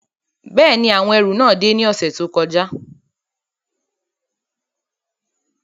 Bẹ́ẹ̀ni, awọn ẹru náà de ni ọsẹ to kọja